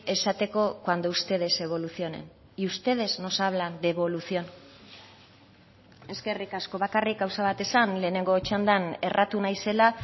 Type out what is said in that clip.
esateko cuando ustedes evolucionen y ustedes nos hablan de evolución eskerrik asko bakarrik gauza bat esan lehenengo txandan erratu naizela